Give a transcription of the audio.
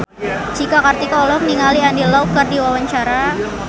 Cika Kartika olohok ningali Andy Lau keur diwawancara